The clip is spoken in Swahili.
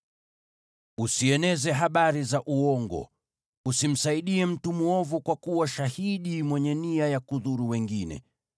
“Usieneze habari za uongo. Usimsaidie mtu mwovu kwa kuwa shahidi mwenye nia ya kudhuru wengine.